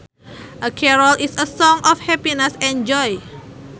A carol is a song of happiness and joy